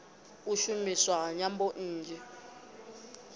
u shumiswa ha nyambo nnzhi